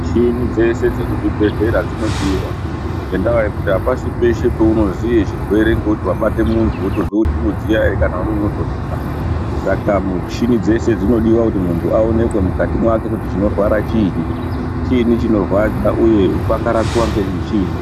Michini dzese dzekuzvibhehlera dzinodiwa, ngendaa yekuti apasi peshe pounoziye chirwere ngekuti wabate munhu wotozwa kuti unodziya ere kana kutonhora, saka muchini dzese dzinodiwa kuti munhu aonekwe kuti mukati mwake kuti chinorwara chini, chini chinorwadza uye pangarapiwa nechini.